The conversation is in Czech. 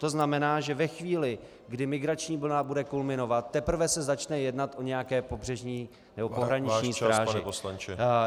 To znamená, že ve chvíli, kdy migrační vlna bude kulminovat, teprve se začne jednat o nějaké pobřežní nebo pohraniční stráži.